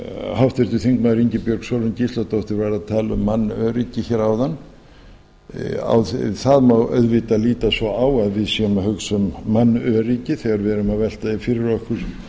háttvirtur þingmaður ingibjörg sólrún gísladóttir var að tala um mannöryggi hér áðan það má auðvitað líta svo á við séum að hugsa um mannöryggi þegar við erum að velta því fyrir okkur